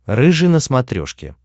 рыжий на смотрешке